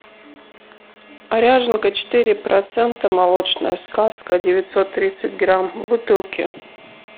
ряженка четыре процента молочная сказка девятьсот тридцать грамм в бутылке